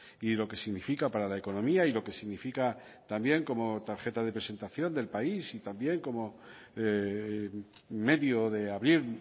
y lo que significa para la economía y lo que significa también como tarjeta de presentación del país y también como medio de abrir